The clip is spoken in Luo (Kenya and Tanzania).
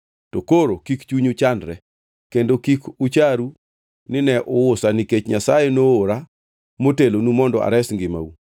To koro, kik chunyu chandre kendo kik ucharu nine uusa ka nikech Nyasaye noora motelonu mondo ares ngimau.”